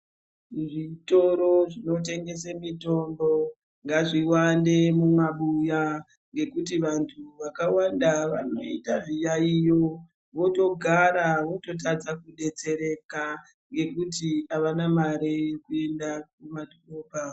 Zvitoro zvinotengese mitombo ngazviwande mumabuya ngekuti vantu vakawanda vanoita zviyaiyo votogara vototadza kudetsereka ngekuti avana mare yekuenda kumadhorobha.